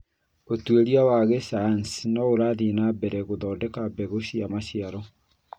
Ũtuĩria wa gĩcayanci nĩ ũrathiĩ na mbere gũthondeka mbegũ cia maciaro